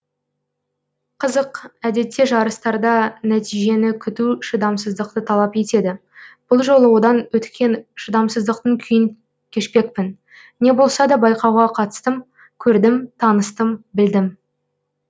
қызық әдетте жарыстарда нәтежиені күту шыдамсыздықты талап етеді бұл жолы одан өткен шыдамсыздықтың күйін кешпекпін не болса да байқауға қатыстым көрдім таныстым білдім